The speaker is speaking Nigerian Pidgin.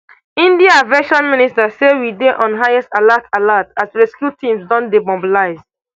india aviation minister say we dey on highest alert alert as rescue teams don dey mobilised